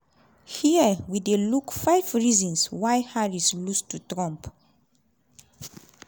hia we dey look five reasons why harris lose to trump.